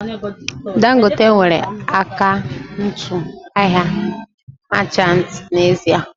Dangote nwere akaụntụ ahịa machanti n'ezie